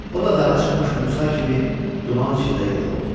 O da daha çıxmış Musa kimi duman içində yox oldu.